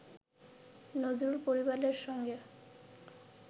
নজরুল পরিবারের সঙ্গে